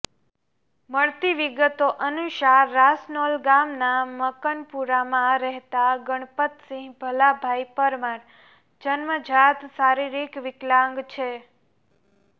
મળતી વીગતો અનુસાર રાસનોલ ગામનાં મકનપુરામાં રહેતા ગણપતસીહ ભલાભાઈ પરમાર જન્મજાત શારીરિક વિકલાંગ છે